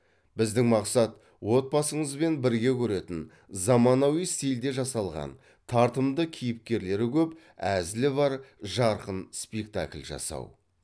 біздің мақсат отбасыңызбен бірге көретін заманауи стильде жасалған тартымды кейіпкерлері көп әзілі бар жарқын спектакль жасау